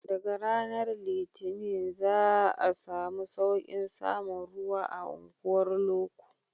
Daga ranar litinin za a samu sauƙin samun ruwa a unguwar loko